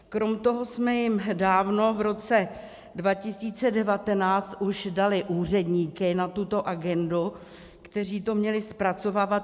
Krom toho jsme jim dávno v roce 2019 už dali úředníky na tuto agendu, kteří to měli zpracovávat.